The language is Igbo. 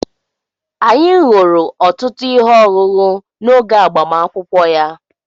Anyị ṅụrụ ọtụtụ ihe ọṅụṅụ n'oge agbamakwụkwọ ya.